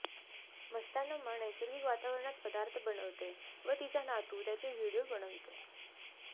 मस्तानम्मा नैसर्गिक वातावरणात पदार्थ बनविते व तिचा नातू त्याचे व्हिडीओ बनवितो